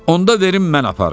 "Onda verim mən aparım."